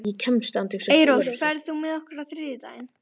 Eyrós, ferð þú með okkur á þriðjudaginn?